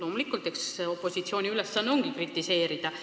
Muidugi, eks opositsiooni ülesanne ongi kritiseerida.